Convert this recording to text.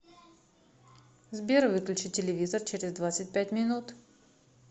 сбер выключи телевизор через двадцать пять минут